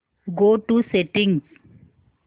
go to settings